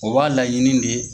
O b'a laɲini de